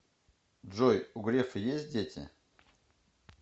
джой у грефа есть дети